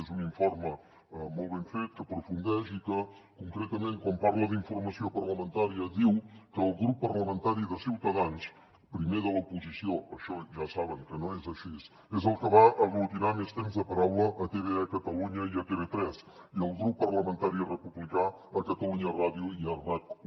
és un informe molt ben fet que aprofundeix i que concretament quan parla d’informació parlamentària diu que el grup parlamentari de ciutadans primer de l’oposició això ja saben que no és així és el que va aglutinar més temps de paraula a tve a catalunya i a tv3 i el grup parlamentari republicà a catalunya ràdio i a rac1